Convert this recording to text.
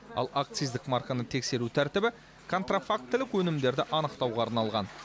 ал акциздік марканы тексеру тәртібі контрафактілік өнімдерді анықтауға арналған